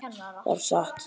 Það var satt.